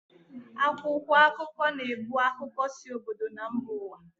Akwụkwọ akụkọ na-ebu akụkọ si obodo na mba ụwa